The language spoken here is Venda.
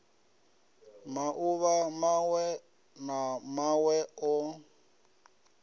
mauvha mawe na mawe o